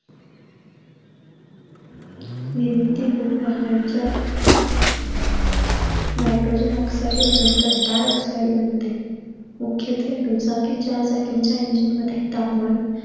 निर्मिती होऊन वाहनांच्या nitrogen dioxide व नंतर dioxide बनते. मुख्यते दुचाकींच्या engine मध्ये तापमान